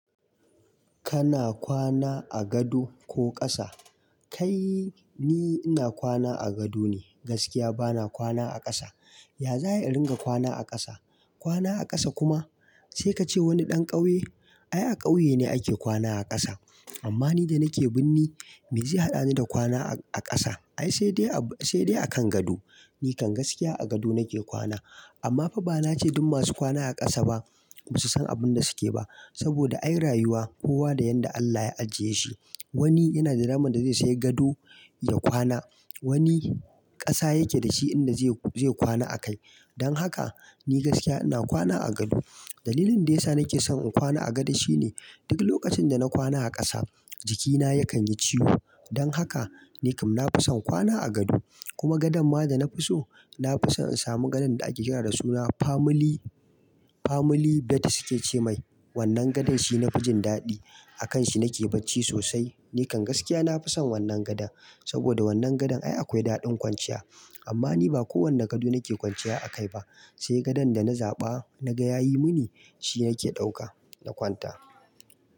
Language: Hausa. Kana kwana a gado ko ƙasa? Kai ni ina kwana a gado ne gaskiya bana kwana a ƙasa. Ya za a yi in ringa kwana a ƙasa? Kwana a ƙasa kuma sai ka ce wani ɗan ƙauye? Ai a ƙauye ne ake kwana a ƙasa. Amma ni da nake birni me zai haɗani da kwana a ƙasa? Ai sai dai, sai dai a kan gado. Nikan gaskiya a gado nake kwana. Amma fa ba nace duk masu kwana a ƙasa ba ba su san abin da suke ba. Saboda ai rayuwa kowa da yanda Allah ya ajiye shi. Wani yana da dama da zai sai gado ya kwana, wani ƙasa yake da shi inda zai kwana akai. Don haka ni gaskiya ina kwana a gado. Dalilin de yasa nake son in kwana a gado shine duk lokacin da na kwana a ƙasa jikina yakan yi ciwo. Don haka nikam na fi son kwana a gado. Kuma gadan ma da na fi so, na fi son in samu gadon da ake kira da suna family, family bed suke ce mai. Wannan gadan shi na fijin daɗi. A kanshi nake bacci sosai. Nikan gaskiya na fi son wannan gadan. Saboda wannan gadan ai akwai daɗin kwanciya. Amma ni ba kowanna gado nake kwanciya akai ba. Sai gadan da na zaba naga yayi muni shi nake ɗauka na kwanta.